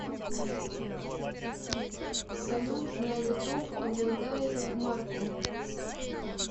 салют на ютуб обладает маркул